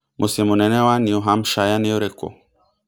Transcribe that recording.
mũciĩ mũnene wa New Hampshire ni ũrikũ